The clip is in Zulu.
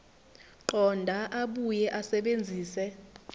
qonda abuye asebenzise